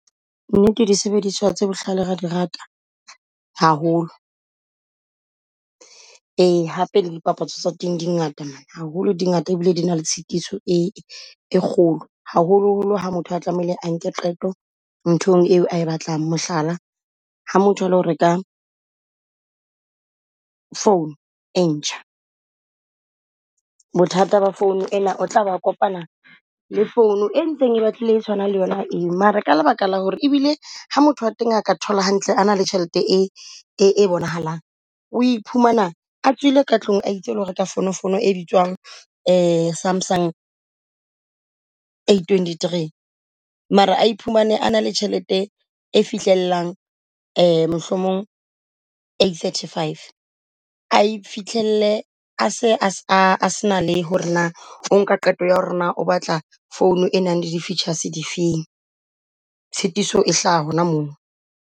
Nnete di sebediswa tse bohlale re a di rata haholo. Ee hape le di papatso tsa teng di ngata man, haholo di ngata e bile di na le tshitiso e kgolo. Haholo-holo ha motho a tlamehile a nke qeto nthong eo ae batlang mohlala, ha motho a lo reka phone e ntjha. Bothata ba phone ena o tla ba kopana le phone e ntseng e batlile e tshwanang le yona eo. Mara ka lebaka la hore ebile ha motho a teng a ka thola hantle, a na le tjhelete e e bonahalang. O iphumana a tswile ka tlung aitse ole reka phone. Phone e bitswang Samsung eight twenty three. Mara a iphumane a na le tjhelete e fihlelang mohlomong eight thirty five a ifihlelle a se a se na le hore na o nka qeto ya hore na, o batla founu e nang le di features di feng. Tshitiso e hlaha hona mono.